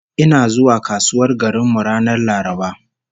Ina zuwa kasuwar garin mu ranar Laraba